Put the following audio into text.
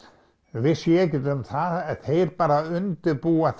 vissi ég ekkert um það en þeir bara undirbúa